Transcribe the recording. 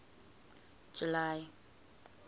july